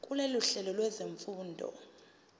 kulolu hlelo lwezifundo